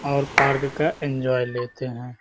और पार्क का एन्जॉय लेते हैं।